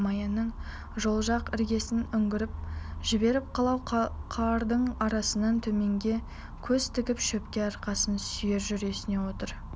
маяның жол жақ іргесін үңгіп жіберіп қылау қардың арасынан төменге көз тігіп шөпке арқасын сүйеп жүресінен отыр